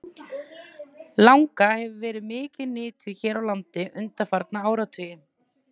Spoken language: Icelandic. Langa hefur verið mikið nytjuð hér á landi undanfarna áratugi.